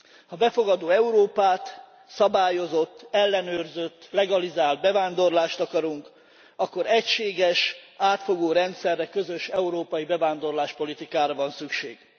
Ha befogadó Európát, szabályozott, ellenőrzött, legalizált bevándorlást akarunk, akkor egységes, átfogó rendszerre, közös európai bevándorláspolitikára van szükség.